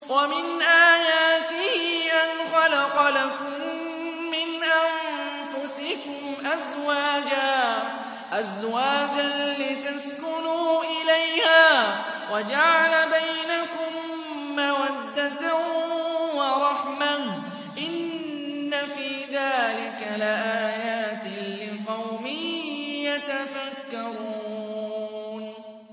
وَمِنْ آيَاتِهِ أَنْ خَلَقَ لَكُم مِّنْ أَنفُسِكُمْ أَزْوَاجًا لِّتَسْكُنُوا إِلَيْهَا وَجَعَلَ بَيْنَكُم مَّوَدَّةً وَرَحْمَةً ۚ إِنَّ فِي ذَٰلِكَ لَآيَاتٍ لِّقَوْمٍ يَتَفَكَّرُونَ